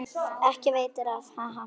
Ekki veitir af, ha ha!